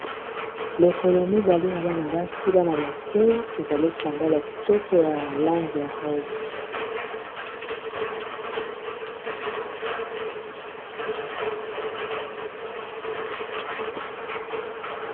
lokolo mibale ya bana-basi bana-moke ezali esandala ya kitoko ya lang ya ros